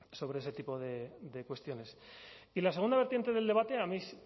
sobre ese tipo de cuestiones y la segunda vertiente del debate a mí